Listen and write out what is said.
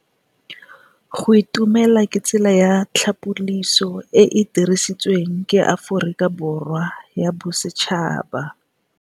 Go itumela ke tsela ya tlhapolisô e e dirisitsweng ke Aforika Borwa ya Bosetšhaba.